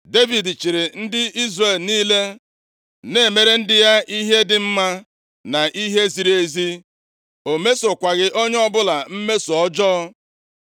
Devid chịrị ndị Izrel niile, na-emere ndị ya ihe dị mma na ihe ziri ezi. O mesokwaghị onye ọbụla mmeso ọjọọ.